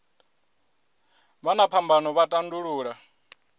vha na phambano vha tandulula